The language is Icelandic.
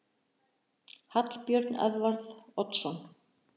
Hallbjörn Edvarð Oddsson